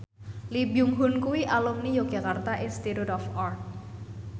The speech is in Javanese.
Lee Byung Hun kuwi alumni Yogyakarta Institute of Art